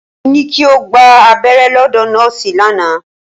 Mo ní kí o gba abẹ́rẹ́ lọ́dọ̀ nọ́ọ̀sì lánàá.